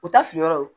U ta fili yɔrɔ ye